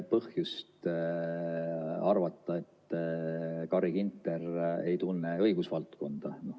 ... põhjust arvata, et Carri Ginter ei tunne õigusvaldkonda.